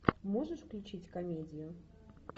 можешь включить комедию